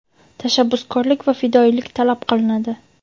tashabbuskorlik va fidoyilik talab qilinadi.